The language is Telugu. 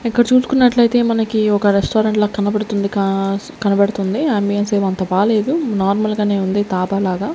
ఇక్కడ చూసుకున్నట్లయితే మనకి ఒక రెస్టారెంట్ లా కనబడుతుంది కస్ --కనబడుతుంది ఆంబియన్స్ ఏమి అంత బాలేదు నార్మల్ గానే ఉంది తాబాలాగా.